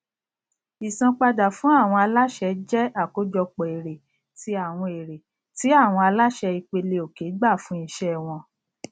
ìsanpadà fún àwọn aláṣẹ jẹ àkópọ èrè ti àwọn èrè ti àwọn aláṣẹ ìpeleòkè gbà fún iṣẹ wọn